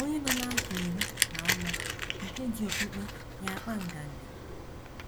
Onye Nọ N’afọ Iri Na Ụma Nke Ji Okpukpe Ya Akpa Nganga